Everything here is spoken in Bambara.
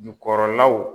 Jukɔrɔlaw